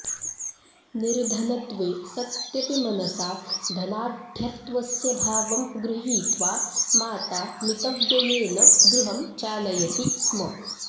निर्धनत्वे सत्यपि मनसा धनाढ्यत्वस्य भावं गृहीत्वा माता मितव्ययेन गृहं चालयति स्म